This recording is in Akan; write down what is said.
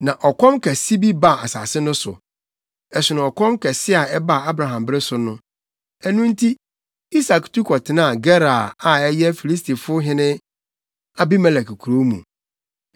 Na ɔkɔm kɛse bi baa asase no so; ɛsono ɔkɔm kɛse a ɛbaa Abraham bere so no. Ɛno nti, Isak tu kɔtenaa Gerar a ɛyɛ Filistifo hene Abimelek kurow mu.